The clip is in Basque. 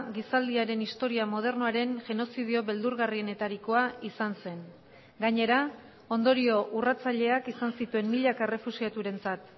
gizaldiaren historia modernoaren genozidio beldurgarrienetarikoa izan zen gainera ondorio urratzaileak izan zituen milaka errefuxiaturentzat